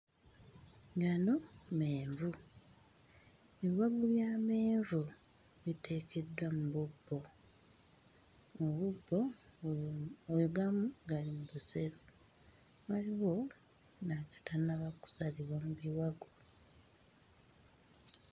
Gano menvu ebiwagu by'amenvu biteekeddwa mu bubbo mu bubbo mm we gamu gali mu busero waliwo n'agatannaba kusalibwa mu biwagu.